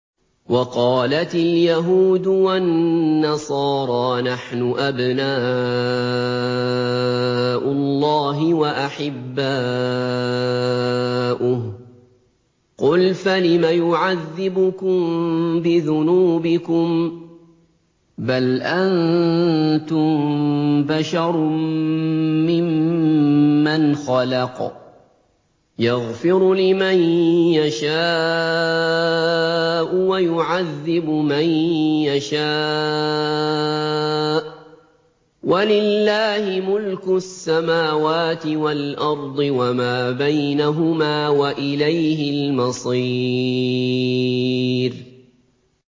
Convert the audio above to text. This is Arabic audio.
وَقَالَتِ الْيَهُودُ وَالنَّصَارَىٰ نَحْنُ أَبْنَاءُ اللَّهِ وَأَحِبَّاؤُهُ ۚ قُلْ فَلِمَ يُعَذِّبُكُم بِذُنُوبِكُم ۖ بَلْ أَنتُم بَشَرٌ مِّمَّنْ خَلَقَ ۚ يَغْفِرُ لِمَن يَشَاءُ وَيُعَذِّبُ مَن يَشَاءُ ۚ وَلِلَّهِ مُلْكُ السَّمَاوَاتِ وَالْأَرْضِ وَمَا بَيْنَهُمَا ۖ وَإِلَيْهِ الْمَصِيرُ